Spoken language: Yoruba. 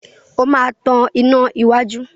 O máa tan iná iwájú.